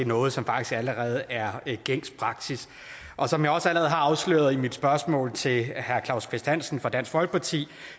noget som faktisk allerede er gængs praksis og som jeg også allerede har afsløret i mit spørgsmål til herre claus kvist hansen fra dansk folkeparti